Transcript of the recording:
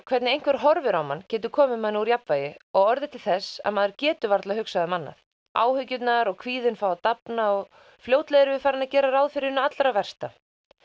hvernig einhver horfir á mann getur komið manni úr jafnvægi og orðið til þess að maður getur varla hugsað um annað áhyggjurnar og kvíðinn fá að dafna og fljótlega erum við farin að gera ráð fyrir hinu allra versta